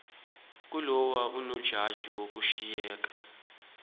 kaloku unojaji washiyeka